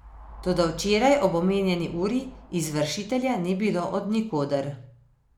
Toda včeraj ob omenjeni uri izvršitelja ni bilo od nikoder.